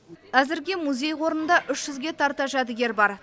әзірге музей қорында үш жүзге тарта жәдігер бар